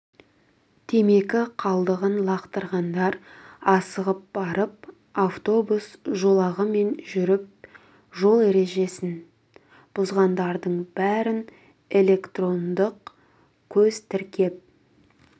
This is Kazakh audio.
темекі қалдығын лақтырғандар асығып барып автобус жолағымен жүріп жол ережесін бұзғандардың бәрін электрондық көз тіркеп